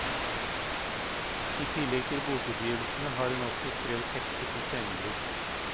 I tillegg til bokutgivelsene har hun også skrevet tekster til scenebruk.